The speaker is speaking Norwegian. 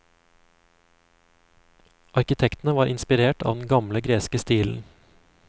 Arkitektene var inspirert av den gamle, greske stilen.